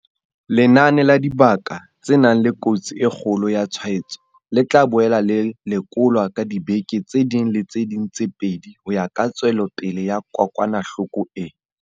Lenane la dibaka tse nang le kotsi e kgolo ya tshwaetso le tla boela le lekolwa ka diveke tse ding le tse ding tse pedi ho ya ka tswelopele ya kokwanahloko ena.